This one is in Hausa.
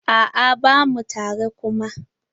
A'a bamu tare kuma.